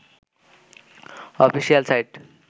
official site